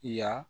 Yan